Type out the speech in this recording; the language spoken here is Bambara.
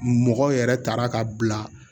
Mɔgɔ yɛrɛ taara ka bila